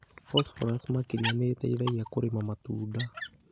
Phosphorus makĩria nĩ ĩteithagia kũrĩma matunda